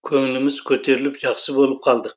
көңіліміз көтеріліп жақсы болып қалдық